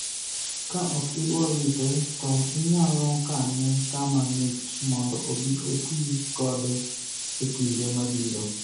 ka ok idwa wite to inyalo kane kama ng'ich mondo obi oti kode e kinde mabiro